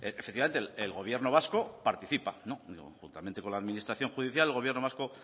efectivamente el gobierno vasco participa juntamente con la administración judicial el gobierno vasco